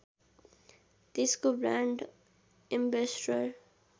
त्यसको brand ambassador